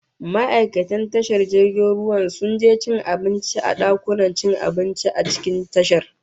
Ma'aikatan tashan jirgin ruwan sun je cin abinci a dakunan cin abinci a cikin tashar